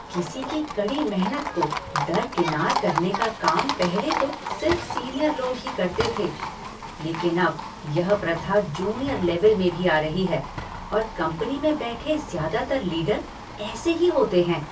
किसी की कड़ी मेहनत को दरकिनार करने का काम पहले तो सिर्फ सीनियर लोग ही करते थे, लेकिन अब यह प्रथा जूनियर लेवल में भी आ रही है और कंपनी में बैठे ज़्यादातर लीडर ऐसे ही होते हैं।